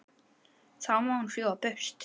Þá má hún fljúga burtu.